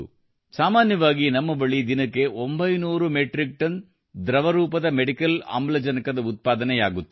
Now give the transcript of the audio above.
ಸಾಮಾನ್ಯವಾಗಿ ನಮ್ಮ ಬಳಿ ದಿನಕ್ಕೆ 900 ಮೆಟ್ರಿಕ್ ಟನ್ ದ್ರಗವರೂಪದ ವೈದ್ಯಕೀಯ ಆಮ್ಲಜನಕದ ಉತ್ಪತ್ತಿಯಾಗುತ್ತಿತ್ತು